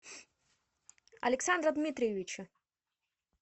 александра дмитриевича